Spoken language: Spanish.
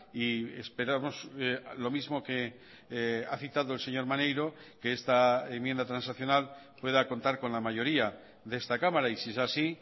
y esperamos lo mismo que ha citado el señor maneiro que esta enmienda transaccional pueda contar con la mayoría de esta cámara y si es así